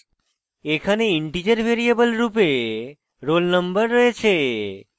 এখানে integer variable রূপে roll _ no রয়েছে